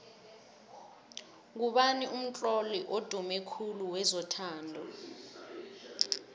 ngubani umtlolo odume khulu wezothando